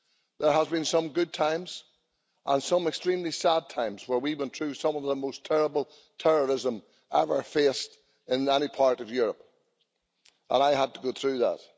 There have been some good times and some extremely sad times where we have been through some of the most terrible terrorism ever faced in any part of Europe, and I had to go through that.